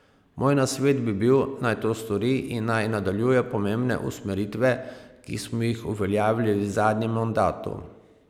Moj nasvet bi bil, naj to stori in naj nadaljuje pomembne usmeritve, ki smo jih uveljavili v zadnjem mandatu.